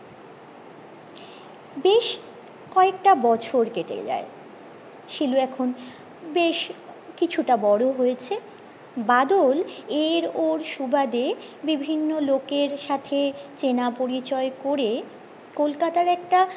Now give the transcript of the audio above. বেশ কয়েকটা বছর কেটে যায় শিলু এখন বেশ কিছুটা বড়ো হয়েছে বাদল এর ওর সুবাদে বিভিন্ন লোকের সাথে চেনা পরিচয় করে কলকাতার একটা